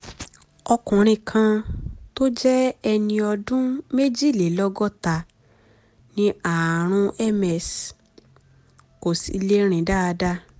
ọkùnrin kan tó jẹ́ ẹni ọdún méjìlélọ́gọ́ta ní ààrùn ms kò sì lè rìn dáadáa